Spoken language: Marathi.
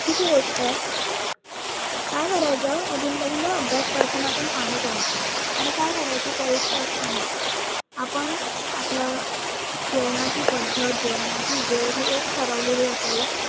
चुकीची गोष्ट आहे काय करायचं अधून मधून ना अभ्यास करताना आपण पानी प्यायच आणि काय करायच परीक्षा असताना आपण आपल जेवणाची पद्धत, जेवणाची वेळ हि एक ठरवलेली असावी